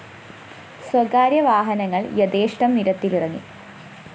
സ്വകാര്യ വാഹനങ്ങള്‍ യഥേഷ്ടം നിരത്തിലിറങ്ങി